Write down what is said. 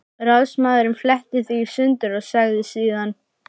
Ráðsmaðurinn fletti því í sundur og sagði síðan